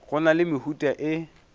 go na le mehuta e